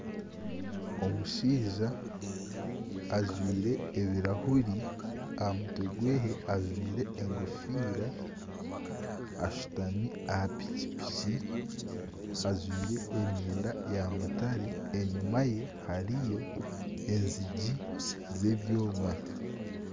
omushaija ajwaire ebirahuri aha mutwe gwe ajwaire engofiira ashutami aha pikipiki ajwaire emyenda ya mutare. Enyima ye hariyo enyigi z'ebyoma.